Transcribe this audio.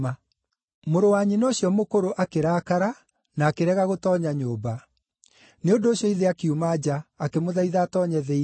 “Mũrũ wa nyina ũcio mũkũrũ akĩrakara na akĩrega gũtoonya nyũmba. Nĩ ũndũ ũcio ithe akiuma nja, akĩmũthaitha atoonye thĩinĩ.